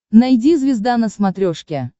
найди звезда на смотрешке